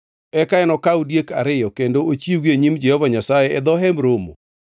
Eka enokaw diek ariyo kendo ochiwgi e nyim Jehova Nyasaye e dho Hemb Romo.